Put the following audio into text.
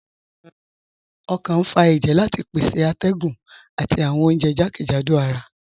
Ọkàn n fà èjẹ̀ láti pèsè àtẹ̀gùn àti awọn ọ̀unjẹ̀ jàkẹ́jádò àrà